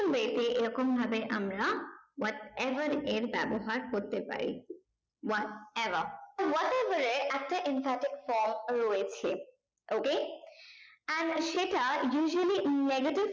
way তে এই রকম ভাবে আমরা what ever এর ব্যাবহার করতে পারি what above what ever এর একটা infected from রয়েছে okay and সেটা usually negative